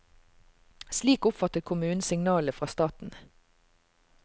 Slik oppfattet kommunen signalene fra staten.